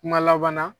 Kuma laban na